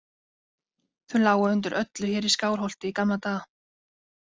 Þau lágu undir öllu hér í Skálholti í gamla daga.